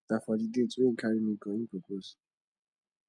na for di date wey im carry me go im propose